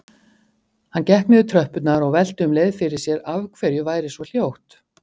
Hann gekk niður tröppurnar og velti um leið fyrir sér af hverju væri svo hljótt.